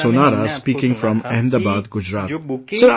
Anil Sonara speaking from Ahmedabad, Gujarat